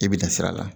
I bi dan sira la